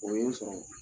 O ye n sɔrɔ